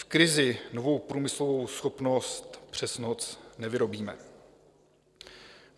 V krizi novou průmyslovou schopnost přes noc nevyrobíme.